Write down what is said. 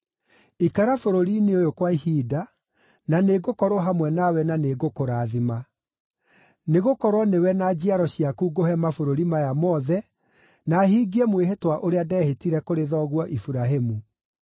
Ikara bũrũri-inĩ ũyũ kwa ihinda, na nĩngũkorwo hamwe nawe na nĩngũkũrathima. Nĩgũkorwo nĩwe na njiaro ciaku ngũhe mabũrũri maya mothe na hingie mwĩhĩtwa ũrĩa ndehĩtire kũrĩ thoguo Iburahĩmu.